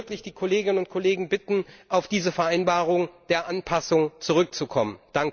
Ich würde wirklich die Kolleginnen und Kollegen bitten, auf diese Vereinbarung der Anpassung zurückzukommen!